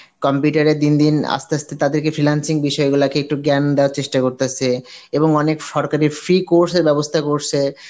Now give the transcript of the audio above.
computer এ দিন দিন আস্তে আস্তে তাদেরকে freelancing বিষয় গুলাকে একটু জ্ঞান দেওয়ার চেষ্টা করতাসে এবং অনেক সরকারি free course এর ব্যবস্থা করসে